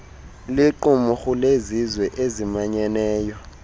liqumrhu lezizwe ezimanyeneyo